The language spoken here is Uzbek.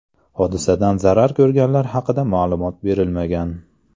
Hodisadan zarar ko‘rganlar haqida ma’lumot berilmagan.